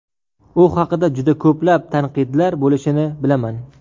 U haqida juda ko‘plab tanqidlar bo‘lishini bilaman.